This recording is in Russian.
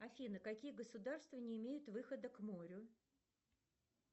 афина какие государства не имеют выхода к морю